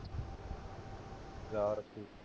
ਯਾਦ ਰੱਖੀਂ